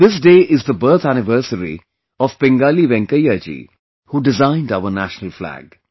This day is the birth anniversary of Pingali Venkaiah ji who designed our national flag